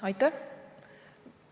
Aitäh!